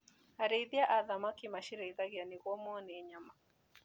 Arĩithia a thamaki macirĩithagia nĩguo mone nyama.